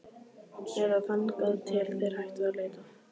Eða þangað til þeir hætta að leita.